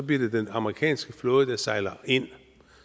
bliver det den amerikanske flåde der sejler ind